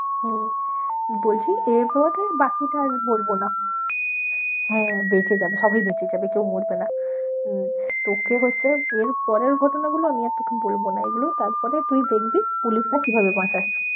হম বলছি এরপর যে বাকিটা আর বলবো না হ্যাঁ বেঁচে যাবে সবাই বেঁচে যাবে কেউ মরবে না, উম তোকে হচ্ছে এর পরের ঘটনাগুলো আমি আর তোকে বলবো না, এগুলো তারপরে তুই দেখবি পুলিশরা কিভাবে বাঁচায়।